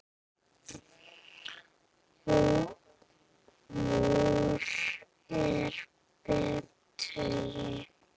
Hvor er betri?